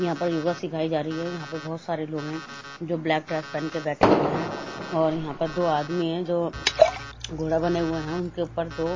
यहां पर योगा सिखाई जा रही है यहां पे बहुत सारे लोग हैं जो ब्लैक पहन के बैठे हुए हैं और यहां पे दो आदमी हैं जो घोड़ा बने हुए हैं उनके ऊपर दो--